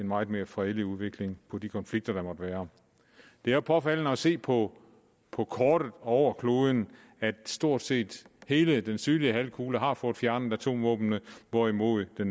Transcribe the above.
meget mere fredelig udgang på de konflikter der måtte være det er påfaldende at se på på kortet over kloden at stort set hele den sydlige halvkugle har fået fjernet atomvåbnene hvorimod der